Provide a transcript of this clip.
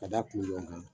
Ka da kulukan